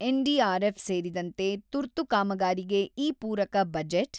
NDRF ಸೇರಿದಂತೆ ತುರ್ತು ಕಾಮಗಾರಿಗೆ ಈ ಪೂರಕ ಬಜೆಟ್